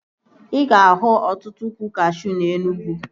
Ị ga-ahụ ọtụtụ ụkwụ kashuu na Enugwu